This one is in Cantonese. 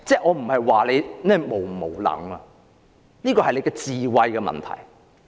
我不是說他是否無能，這是智慧的問題。